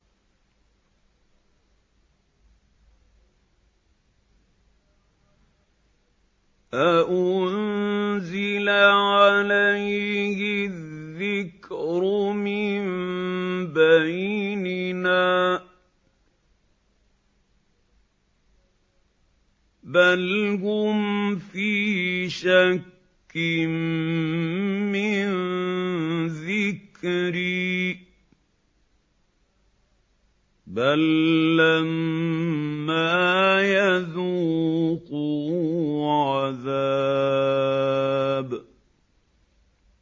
أَأُنزِلَ عَلَيْهِ الذِّكْرُ مِن بَيْنِنَا ۚ بَلْ هُمْ فِي شَكٍّ مِّن ذِكْرِي ۖ بَل لَّمَّا يَذُوقُوا عَذَابِ